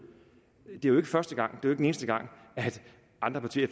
det er jo ikke første gang det er den eneste gang at andre partier i